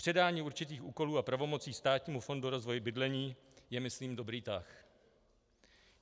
Předání určitých úkolů a pravomocí Státnímu fondu rozvoje bydlení je myslím dobrý tah.